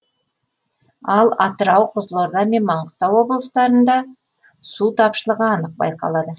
ал атырау қызылорда мен маңғыстау облыстарында су тапшылығы анық байқалады